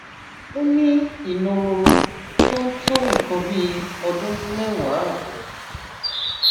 ó ní ìnororo tó ń tó nǹkan bí ọdún mẹwàá ààbò